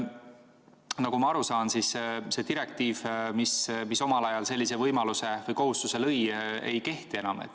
Nagu ma aru saan, siis see direktiiv, mis omal ajal sellise võimaluse või kohustuse lõi, ei kehti enam.